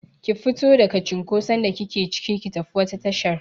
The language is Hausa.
Ki fito daga cinkoson da kike cike, ki tafi wata tashar!